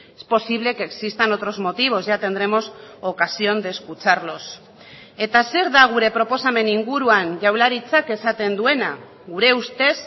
es posible que existan otros motivos ya tendremos ocasión de escucharlos eta zer da gure proposamen inguruan jaurlaritzak esaten duena gure ustez